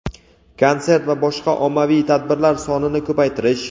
konsert va boshqa ommaviy tadbirlar sonini ko‘paytirish;.